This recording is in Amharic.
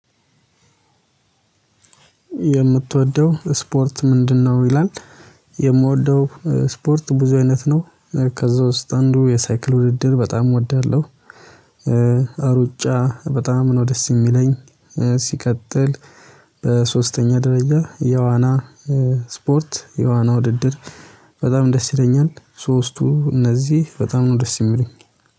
የምትወደው ስፖርት ምንድነው ይላል? የምወደው ስፖርት ብዙ አይነት ነው። ከዛ ውስጥ አንዱ የሳይክል ውድድር በጣም እወዳለሁ። እሩጫ በጣም ነው ደስ የሚለኝ። ሲቀጥል በሶስተኛ ደረጃ የዋና ስፖርት የዋና ውድድር። በጣም ደስ ይለኛል ሶስቱ እነዚህ በጣም ነው ደስ የሚሉኝ